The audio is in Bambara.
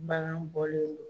Bagan bɔlen